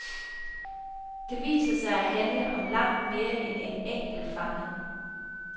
Den viser sig at handle om langt mere end en enkelt fange.